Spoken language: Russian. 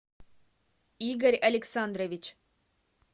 игорь александрович